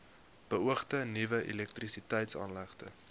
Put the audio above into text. beoogde nuwe elektrisiteitsaanlegte